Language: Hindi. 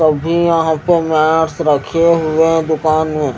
कभी यहाँ पे मेट्स रखे हुए दूकान में--